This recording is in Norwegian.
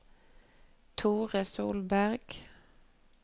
Thore Solberg